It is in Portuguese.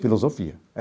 Filosofia.